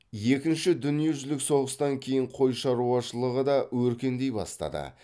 екінші дүниежүзілік соғыстан кейін қой шаруашылығы да өркендей бастады